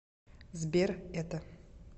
сбер это